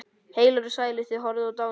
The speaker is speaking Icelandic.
Heilir og sælir, þið horfnu og dánu.